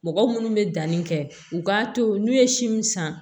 Mɔgɔ munnu bɛ danni kɛ u k'a to n'u ye si min san